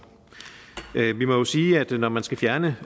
vi må jo sige at når man skal fjerne